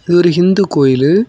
இது ஓரு ஹிந்து கோவிலு.